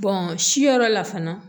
si yɔrɔ la fana